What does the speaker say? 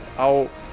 á